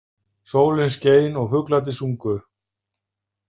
Sólin skein og fuglarnir sungu.